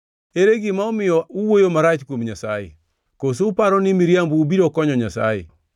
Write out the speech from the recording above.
Ere gima omiyo uwuoyo marach kuom Nyasaye? Koso uparo ni miriambou biro konyo Nyasaye?